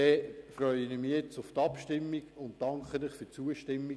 Ich freue mich nun auf die Abstimmung und danke Ihnen für Ihre Zustimmung.